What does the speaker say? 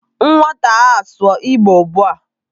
Nwata a, sụọ Igbo ugbu a!